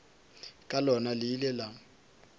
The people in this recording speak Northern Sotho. ka lona le ile la